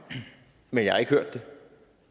men jeg har ikke hørt det